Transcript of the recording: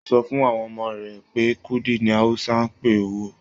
O sọ fún àwọn ọmọ rẹ pé kúdí ní Hausa n pé owó.